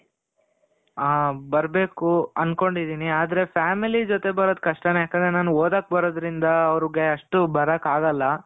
ಹಾ ಬರಬೇಕು ಅನ್ಕೊಂಡಿದಿನಿ ಆದ್ರೆ, family ಜೊತೆ ಬರೋದು ಕಷ್ಟನೆ ಯಾಕಂದ್ರೆ ಓದೋಕ್ ಬರೋದ್ರಿಂದ ಅವ್ರ್ಗೆ ಅಷ್ಟು ಬರಕಾಗಲ್ಲ.